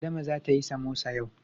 Adama zata yi samosa yau.